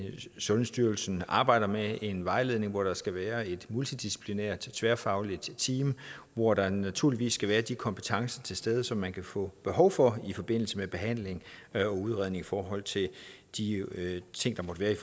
sundhedsstyrelsen arbejder med en vejledning hvor der skal være et multidisciplinært tværfagligt team hvor der naturligvis skal være de kompetencer til stede som man kan få behov for i forbindelse med behandling og udredning i forhold til de ting der måtte være i